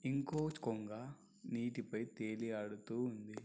ఇంకో కొంగ నీటిపై తేలి ఆడుతూ ఉంది.